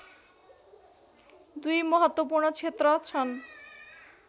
दुई महत्त्वपूर्ण क्षेत्र छन्